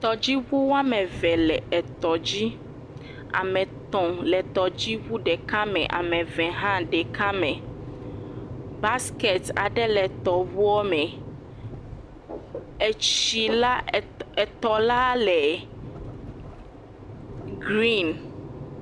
Tɔdziŋu woame eve le tɔ dzi. Ame etɔ le tɔdziŋu ɖeka me, eve hã le ɖeka me, Basiketi le tɔŋu me. Etsi eh etɔla le gren